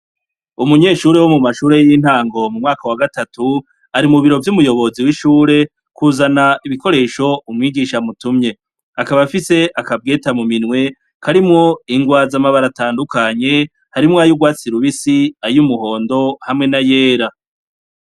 Umunyeshure wo mu mashure y'intango mu mwaka wa gatatu, Ari mu biro vy'umuyobozi w'ishure, ari mu biro vy'umuyobozi w'ishure kuzana ibikoresho umwigisha amutumye. Akaba afise akabwete mu minwe, karimwo ingwa iz'amabara atandukanye. Harimwo ay'urwatsi rubisi, ay'umuhondo, hamwe na yera.